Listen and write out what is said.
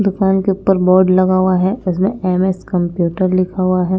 दुकान के ऊपर बोर्ड लगा हुआ है इस में एम एस कंप्यूटर लिखा हुआ है।